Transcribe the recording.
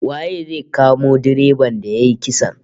Waye zai kamo direban da yayi kisan?